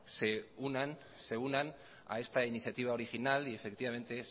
se unan a esta iniciativa original y efectivamente